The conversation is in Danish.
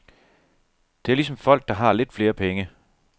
Det er ligesom folk, der har lidt flere penge.